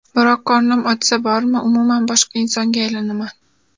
Biroq qornim ochsa bormi, umuman boshqa insonga aylanaman.